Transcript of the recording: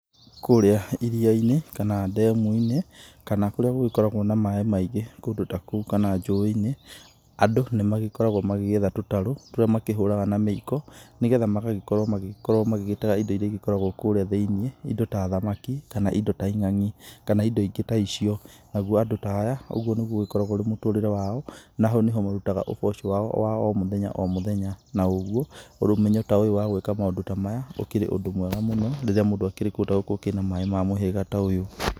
Kũrĩa iria-inĩ kana ndemu-inĩ kana kũrĩa gũgĩkoragwo na maĩ maingĩ kũndũ ta kũu kana njũĩ-inĩ andũ nĩ magĩkoragwo magĩkĩetha tũtarũ tũrĩa makĩhũraga na mĩiko nĩgetha magagĩkorwo magĩgĩtega indo iria igĩkoragwo kũrĩa thĩinĩ indo ta thamaki kana indo ta ing'ang'i kana indo ingĩ ta icio, nao andũ ta aya ũgũo nĩgũo ũgĩkoragwo ũrĩ mũtũrĩre wao na hau nĩho marutaga ũboco wao wa o mũthenya o mũthenya na ũgũo ũmenyo ta ũyũ wa gwĩka maũndũ ta maya ũkĩrĩ ũndũ mwega mũno nĩ ũndũ rĩrĩa mũndũ angĩhota gũkorwo na maĩ ma mũhĩgĩra ta ũyũ.